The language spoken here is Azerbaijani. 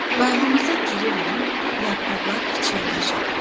Bağımıza girirəm, yarpaqlar pıçıldaşır.